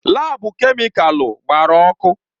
Laabu kemịkalụ gbara ọkụ.